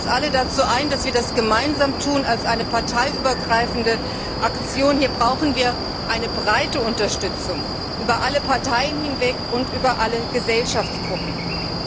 Ich lade uns alle dazu ein, dass wir das gemeinsam tun als eine parteiübergreifende Aktion, hier brauchen wir eine breite Unterstützung über alle Parteien und über alle Gesellschaftsgruppen hinweg.